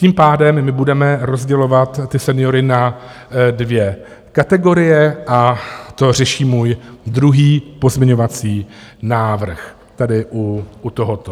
Tím pádem my budeme rozdělovat ty seniory na dvě kategorie, a to řeší můj druhý pozměňovací návrh, tady u tohoto.